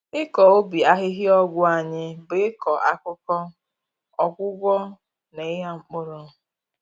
Ịkọ ubi ahịhịa ọgwụ anyị bụ ịkọ akụkọ, ọgwụgwọ, na ịgha mpkụrụ.